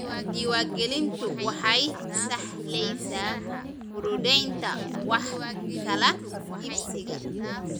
Diiwaangelintu waxay sahlaysa fududaynta wax kala iibsiga.